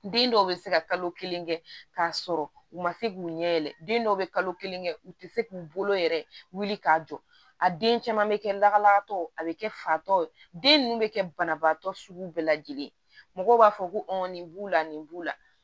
Den dɔw bɛ se ka kalo kelen kɛ k'a sɔrɔ u ma se k'u ɲɛ yɛlɛ den dɔw bɛ kalo kelen kɛ u tɛ se k'u bolo yɛrɛ wuli k'a jɔ a den caman bɛ kɛ lakanatɔ a bɛ kɛ fatɔw ye den ninnu bɛ kɛ banabaatɔ sugu bɛɛ lajɛlen ye mɔgɔw b'a fɔ ko nin b'u la nin b'u la